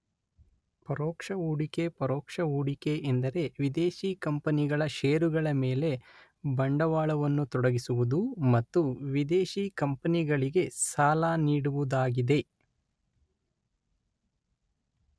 ಪರೋಕ್ಷ ಹೂಡಿಕೆಪರೋಕ್ಷ ಹೊಡಿಕೆ ಎಂದರೆ ವಿದೇಶಿ ಕಂಪನಿಗಳ ಶೇರುಗಳ ಮೇಲೆ ಬಂಡವಾಳವನ್ನು ತೊಡಗಿಸುವುದು ಮತ್ತು ವಿದೇಶಿಕಂಪನಿಗಳಿಗೆ ಸಾಲ ನೀಡುವುದಾಗಿದೆ